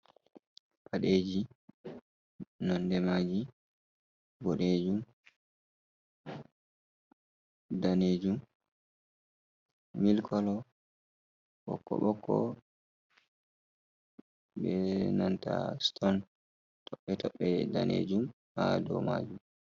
Paɗeji nonde maji boɗejum, danejum, mil kolo, ɓokko-bokko, benanta ston tobɓe-tobɓe danejum ha dow majum.